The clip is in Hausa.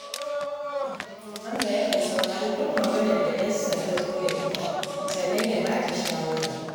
Hamza yakan saurari duk maganar da ‘yarsa ta zo da ita sannan ya ba ta shawara